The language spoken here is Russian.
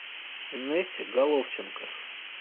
инессе головченко